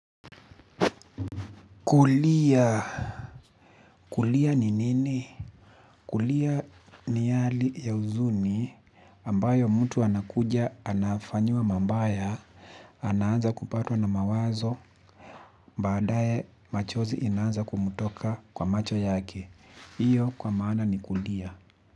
Kulia kulia ni nini kulia ni hali ya uzuni ambayo mtu anakuja anafanyiwa mambaya ananza kupatwa na mawazo baadaye machozi inanza kumutoka kwa macho yake iyo kwa maana ni kulia.